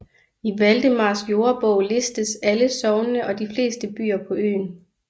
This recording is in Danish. I Valdemars Jordebog listes alle sognene og de fleste byer på øen